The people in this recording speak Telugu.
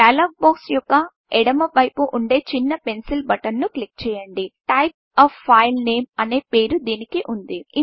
డైలాగ్ బాక్స్ యొక్క ఎడమవైపు పైన ఉండే చిన్న పెన్సిల్ బటన్ను క్లిక్ చేయండి టైప్ a ఫైల్ nameటైప్ ఎ ఫైల్ నేమ్ అనే పేరు దీనికి ఉన్నది